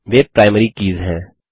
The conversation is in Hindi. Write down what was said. वे प्राइमरी कीज़ हैं